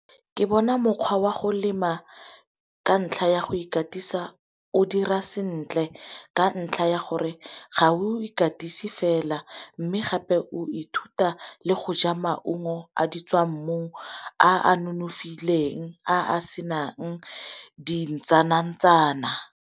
Ke bona mokgwa wa go lema ka ntlha ya go ikatisa o dira sentle ka ntlha ya gore ga o ikatise fela, mme gape o ithuta le go ja maungo a ditswammung a a nonofileng a a senang dintsana-ntsana.